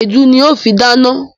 Èédú ni n ó fi dáná.